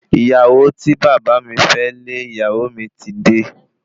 Ìyàwó tí bàbá mi fẹ́ lé ìyá mi ti dé